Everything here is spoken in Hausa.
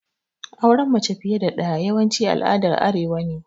Auren mace fiƴe da daƴa yawanci al'aɗar arewa ne.